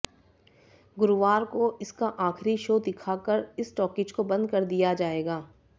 गुरूवार को इसका आखिरी शो दिखा कर इस टॉकीज को बंद कर दिया जाएगा